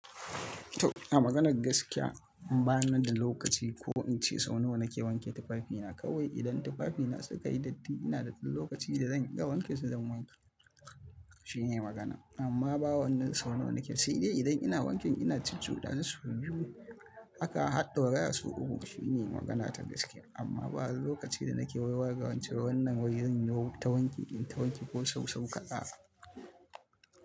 To a maganar gaskiya, ban da lokaci ko in ce sau nawa na ke wanke tufafina. Kawai idan tufafina suka yi datti ina da ɗan lokaci da zan iya wanke su zan wanke. Shine magana, amma ba wannan sau nawa na ke yi. Sai dai idan ina wanken ina cucu dasu sau biyu. Haka har ɗauraya su uku shine magana ta gaskiya. Amma ba lokaci da na ke waiwaya nace wai zan yi wata wanki, in ta wanki ko sau-sau kaɗan.